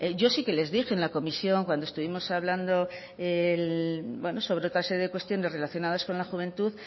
yo sí que les dije en la comisión cuando estuvimos hablando sobre otra serie de cuestiones relacionadas con la juventud